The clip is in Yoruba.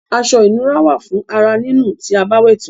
Aṣọ ìnura wà fún ara nínù tí a bá wẹ̀ tán.